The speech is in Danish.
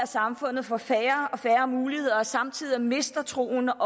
samfundet får færre og færre muligheder og samtidig mister troen